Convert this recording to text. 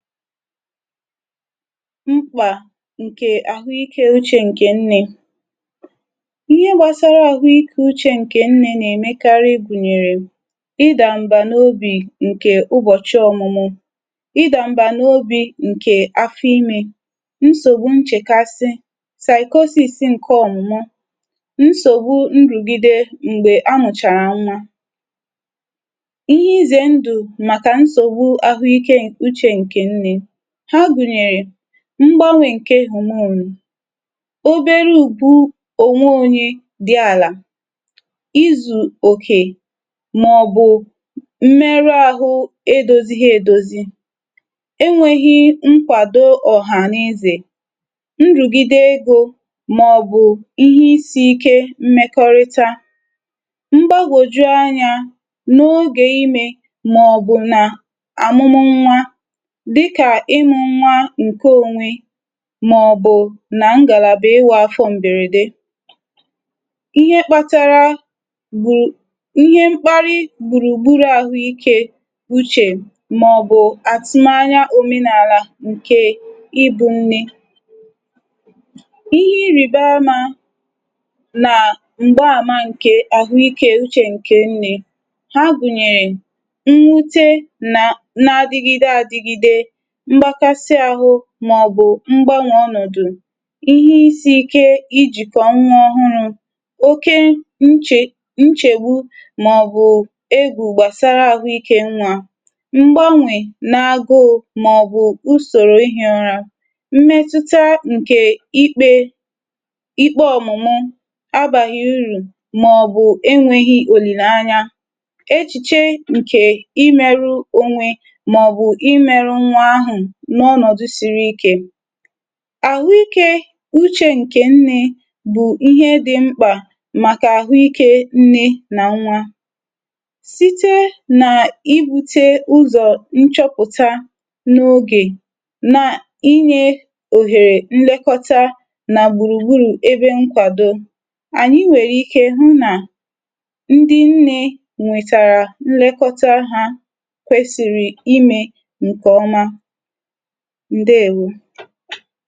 Mkpà ǹkè àhụikė úchè ǹkè nne, ihe gbasara àhụike úchè ǹkè nne nà-èmekarị gùnyèrè, ịdà m̀bà n’obì ǹkè ụbọ̀chị ọ̀mụmụ, ịdà m̀bà n’ obì ǹkè afọ imė, nsògbu nchèkasị, saịkọsịsị ǹke ọ̀mụmụ, nsògbu nrùgide m̀gbè anwụ̀chàrà nwa. Íhe izè ndù màkà nsògbu àhụike uche nke nne ha gùnyèrè, mgbanwè ǹke hụ̀mụnụ̀, obere ùgbu ònwe ȯnyė dị àlà, izù òkè mà ọ̀ bụ̀ m̀mere àhụ edȯzi gi edozi, enwėghi mkwàdo ọ̀ha n’ezè, nrùgide egȯ mà ọ̀ bụ̀ ihe isi̇ ike mmekọrịta, m̀gbagòjuanyȧ n’ogè imė mà ọ̀ bụ̀ na àmụmụ nwa dika imu nwa ǹke ónwe mà ọ̀ bụ̀ nà ngàlàbà ị wụ̇ afọ m̀bèrède. Ihe mkpatara gbù ihe mkparị gbùrù gburù àhụ ikė ụchè mà ọ̀ bụ̀ àtụmanya òmenàlà ǹke ibù nne, ihe iribama nà m̀gba àma ǹkè àhụikė ụchè ǹkè nne ha gụ̀nyèrè, mwute na nà-adìgide àdìgide, mgbakasị ahụ ma ọ̀ bụ mgbanwe ọnọdụ, ihe isi̇ ike ijikọ̀ nwa ọhụrụ̇, oke nchè nchegbu ma ọ̀ bụ egwù gbasara ahụikė nwa, mgbanwe na-agụụ ma ọ̀ bụ usoro ihe ọrȧ, mmetuta nke ikpe ikpe ọmụmụ abaghị urù ma ọ̀ bụ enweghị olilanya, echiche nke imerụ onwe ma ọ̀ bụ imerụ nwa ahụ n’ọnọ̀dụ̀ siri ikė. Áhụikė uchė ǹkè nne bụ̀ ihe dị̇ mkpà màkà àhụikė nne nà nwa site nà-ibu̇tė ụzọ̀ nchọpụ̀ta n’ogè na-inyė òhèrè nlekọta nà gbùrùgburù ebe nkwàdo, ànyị nwèrè ike hụ nà ndị nne nwètàrà nlekọta hȧ kwesìrì imė ǹkè ọma ǹdeėwu̇.